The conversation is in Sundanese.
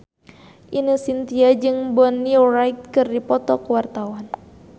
Ine Shintya jeung Bonnie Wright keur dipoto ku wartawan